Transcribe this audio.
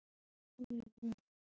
Og almennt stuð!